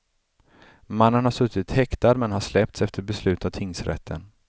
Mannen har suttit häktad men har släppts efter beslut av tingsrätten.